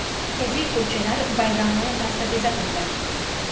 Markaziy ko‘chalar bayramona tarzda bezatildi.